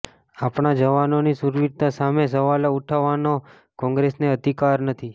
આપણા જવાનોની શૂરવીરતા સામે સવાલો ઉઠાવવાનો કોંગ્રેસને અધિકાર નથી